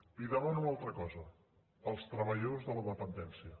li demano una altra cosa els treballadors de la dependència